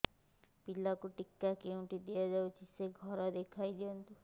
ପିଲାକୁ ଟିକା କେଉଁଠି ଦିଆଯାଉଛି ସେ ଘର ଦେଖାଇ ଦିଅନ୍ତୁ